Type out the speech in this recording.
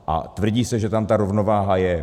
A tvrdí se, že tam ta rovnováha je.